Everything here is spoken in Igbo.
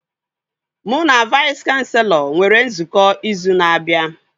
Mụ na Vais kanselọ nwere nzukọ izu na-abịa